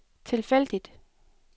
tilfældigt